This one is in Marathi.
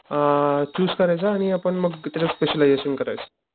अ चुज करायच आणि आपण मग त्याच स्पेशलायजेशन करायचं.